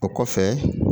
O kɔfɛ